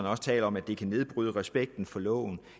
også om at det kan nedbryde respekten for loven